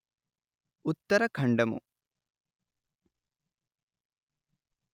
ఉత్తరఖండము